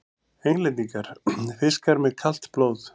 Englendingar: fiskar með kalt blóð!